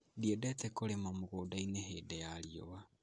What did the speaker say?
Ndiendete kũrĩma mũgũnda-inĩ hĩndĩ ya riũa